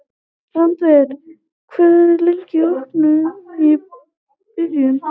Randver, hvað er lengi opið í Brynju?